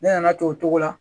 Ne nana to o cogo la